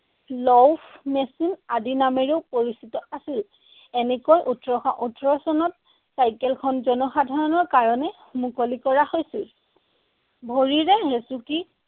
Laufmaschine আদি নামেৰেও পৰিচিত আছিল। এনেকৈ ওঠৰশ ওঠৰ চনত চাইকেলখন জনসাধাৰণৰ কাৰণে মুকলি কৰা হৈছিল। ভৰিৰে হেচুকি